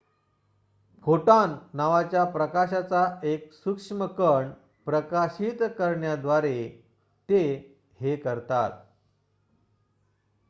"""Photon" नावाच्या प्रकाशाचा एक सूक्ष्म कण प्रकाशित करण्याद्वारे ते हे करतात.